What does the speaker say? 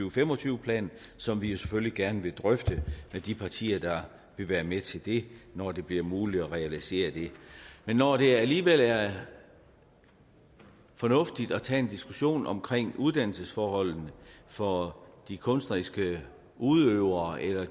og fem og tyve plan som vi jo selvfølgelig gerne vil drøfte med de partier der vil være med til det når det bliver muligt at realisere det men når det alligevel er fornuftigt at tage en diskussion om uddannelsesforholdene for de kunstneriske udøvere eller